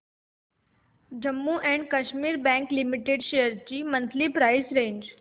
Jammu and Kashmir bank limited shares ची monthly price range